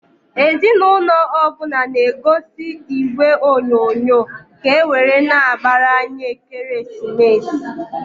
Ezi n'ụnọ ọbụna na -egozi igwe onyoonyo, ka ewere na-agbar'anya ekeresimesi.